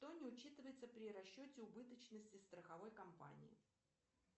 что не учитывается при расчете убыточности страховой компании